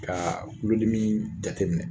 Ka kulodimi jateminɛ.